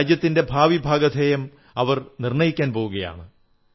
രാജ്യത്തെ ഭാവിഭാഗധേയം അവർ നിർണ്ണയിക്കാൻ പോകയാണ്